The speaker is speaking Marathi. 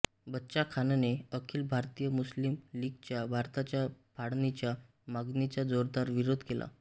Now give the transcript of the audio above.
बच्चा खानने अखिल भारतीय मुस्लिम लीगच्या भारताच्या फाळणीच्या मागणीचा जोरदार विरोध केला